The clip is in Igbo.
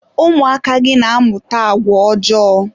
ụmụaka gị na-amụta agwa ọjọọ.